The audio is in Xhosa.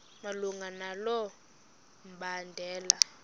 malunga nalo mbandela